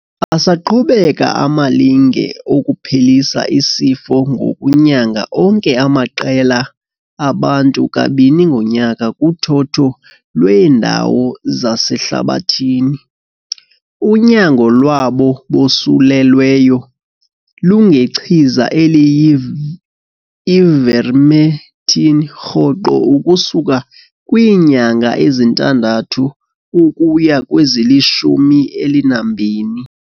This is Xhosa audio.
Asaqhubeka amalinge okuphelisa isifo ngokunyanga onke amaqela abantu kabini ngonyaka kuthotho lweendawo zasehlabathini. Unyango lwabo bosulelweyo lungechiza eliyi-ivermectin rhoqo ukusuka kwiinyanga ezintandathu ukuya kwezilishumi elinambini.